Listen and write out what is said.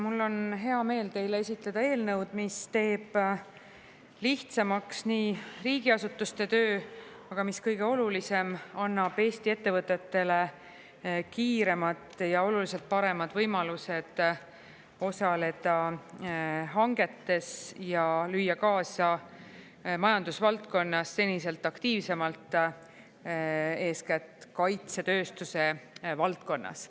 Mul on hea meel teile esitleda eelnõu, mis teeb lihtsamaks riigiasutuste töö, aga mis kõige olulisem, annab Eesti ettevõtetele kiiremad ja oluliselt paremad võimalused osaleda hangetes ja lüüa kaasa majandusvaldkonnas seniselt aktiivsemalt, eeskätt kaitsetööstuse valdkonnas.